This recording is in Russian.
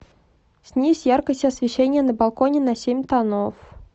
снизь яркость освещения на балконе на семь тонов